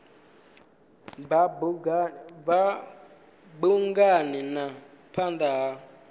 bva bungani na phanda ha